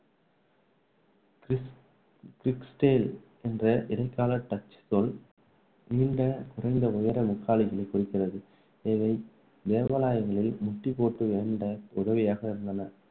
கிரிக்ஸ்டேல் என்ற இடைக்கால டச் சொல், நீண்ட குறைந்த உயர முக்காலிகளைக் குறிக்கிறது. இவை தேவாலயங்களில் முட்டிப்போட்டு வேண்ட உதவியாக இருந்தன.